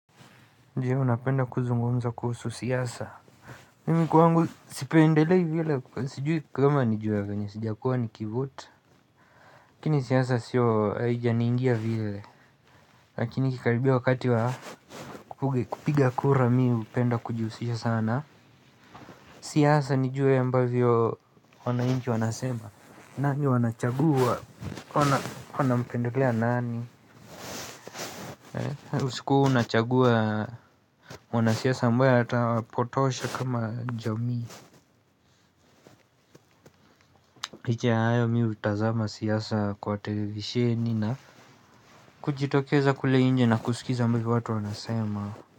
Ndiyo napenda kuzungumza kuhusu siasa. Mimi kwangu sipendelei vile sijui kama ni juu ya venye sijakuwa nikiivote. Lakini siyasa siyo aija niingia vile lakini ikikaribia wakati wa kupiga kura mi hupenda kujiusisha sana. Siyasa nijuwe ambavyo wanainchi wanasema nani wanachagua wanampendelea nani. Usiku unachagua mwanasiasa ambaye hata wapotosha kama jamii liche ya hayo mi hutazama siasa kwa televisheni na kujitokeza kule inje na kusikiza mbivo watu wanasema.